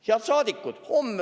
Head saadikud!